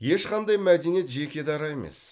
ешқандай мәдениет жеке дара емес